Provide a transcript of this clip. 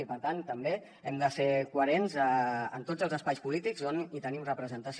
i per tant també hem de ser coherents en tots els espais polítics on tenim representació